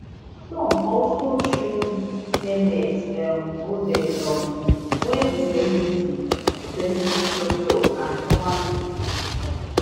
trump also choose mehmet um oz um wey be celebrity be celebrity doctor and former tv host